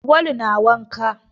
Awwalu na wanka.